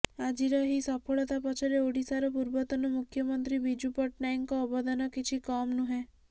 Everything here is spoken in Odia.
ଆଜିର ଏହି ସଫଳତା ପଛରେ ଓଡ଼ିଶାର ପୂର୍ବତନ ମୂଖ୍ୟମନ୍ତ୍ରୀ ବିଜୁ ପଟ୍ଟନାୟକଙ୍କ ଅବଦାନ କିଛି କମ୍ ନୁହେଁ